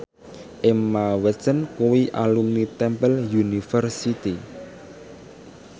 Emma Watson kuwi alumni Temple University